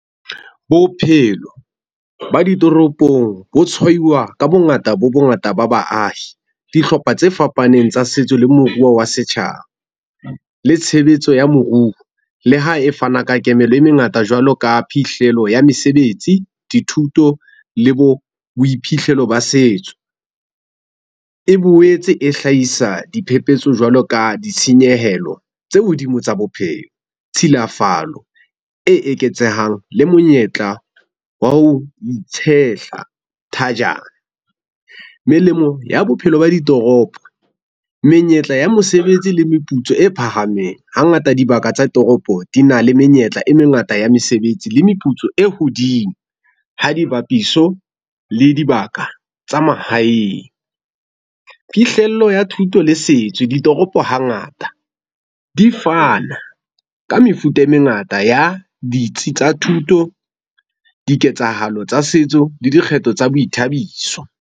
Bophelo ba ditoropong bo tshwaiwa ka bongata bo bongata ba baahi, dihlopha tse fapaneng tsa setso le moruo wa setjhaba le tshebetso ya moruo. Le ha e fana ka kemelo e mengata jwalo ka phihlelo ya mesebetsi, dithuto le bo boiphihlelo ba setso. E boetse e hlahisa diphepetso jwalo ka ditshenyehelo tse hodimo tsa bophelo. Tshilafalo e eketsehang le monyetla wa ho itshehla thajana. Melemo ya bophelo ba ditoropo, menyetla ya mosebetsi le meputso e phahameng. Hangata dibaka tsa toropo di na le menyetla e mengata ya mesebetsi le meputso e hodimo. Ha di bapiso le dibaka tsa mahaeng. Phihlello ya thuto le setso ditoropo hangata di fana ka mefuta e mengata ya ditsi tsa thuto, diketsahalo tsa setso le dikgetho tsa boithabiso.